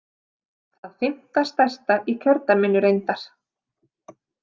Það fimmta stærsta í kjördæminu reyndar.